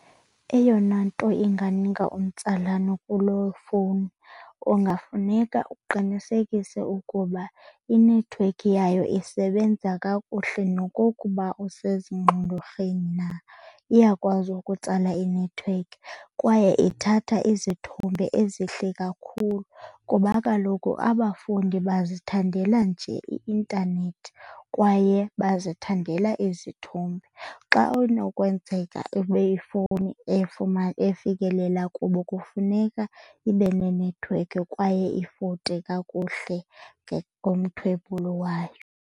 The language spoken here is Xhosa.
Eyona nto inganika umtsalane kuloo fowuni kungafuneka uqinisekise ukuba inethiwekhi yayo isebenza kakuhle. Nokokuba usezingxolorheni na, iyakwazi ukutsala inethiwekhi kwaye ithatha izithombe ezihle kakhulu kuba kaloku abafundi bazithandela nje i-intanethi kwaye bazithandela izithombe. Xa unokwenzeka ibe ifowuni efikelela kubo kufuneka ibe nenethiwekhi kwaye ifote kakuhle ngomthwebulo wayo.